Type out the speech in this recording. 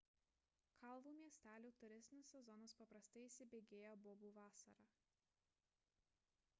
kalvų miestelių turistinis sezonas paprastai įsibėgėja bobų vasarą